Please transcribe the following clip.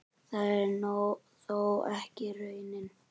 Það er þó ekki raunin.